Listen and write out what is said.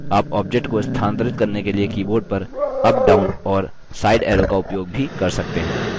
आप object को स्थानांतरित करने के लिए keyboard पर अप down और side arrow का उपयोग भी कर सकते हैं